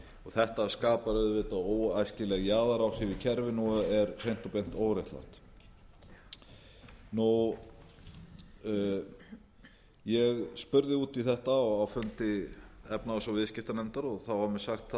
þetta skapar auðvitað óæskileg jaðaráhrif í kerfinu og er hreint og beint óréttlátt ég spurði út í þetta á fundi efnahags og viðskiptanefndar og þá var mér